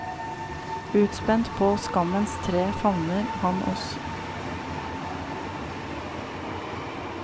Utspent på skammens tre favner han oss i en kjærlighet vi ikke hadde fortjent.